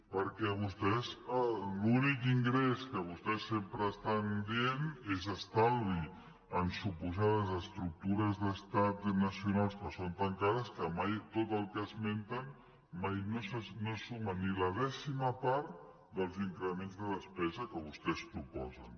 perquè vostès l’únic ingrés que vostès sempre estan dient és estalvi en suposades estructures d’estat i nacionals que són tancades que mai tot el que esmenten mai no suma ni la dècima part dels increments de despesa que vostès proposen